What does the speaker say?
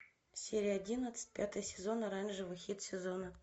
серия одиннадцать пятый сезон оранжевый хит сезона